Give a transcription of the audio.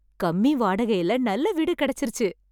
கம்மி வாடகைல நல்ல வீடு கிடச்சுருச்சு